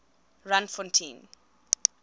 randfontein